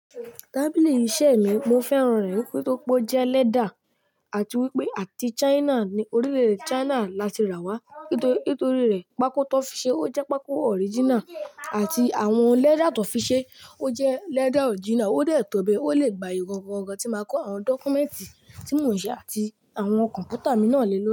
Tábìlì iṣẹ̀ mí, mo fẹ́ràn rẹ̀ nítorí pé ó jẹ́ lẹ́dà àti wípé àti China, ní orílè-èdè China láti rà wá. Nítorí rẹ̀ pákó tí wọ́n fi ṣe ó jẹ́ pákó original àti àwọn lẹ́dà tó fi ṣe ó jẹ́ lẹ́dà original, ó dẹ̀ tóbi, ó lè gba ìrọ̀rùn ọ̀gàn tí màá kó àwọn dọ́kúmẹ́ǹtì tí mò ń ṣe àti àwọn kọ̀m̀pútà mi náà lé lórí.